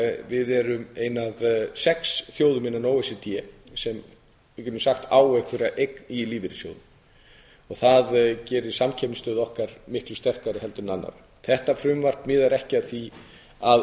við erum ein af sex þjóðum innan o e c d sem við getum sagt að eigi einhverja eign í lífeyrissjóði það gerir samkeppnisstöðu okkar miklu sterkari en annarra þetta frumvarp miðar ekki að því að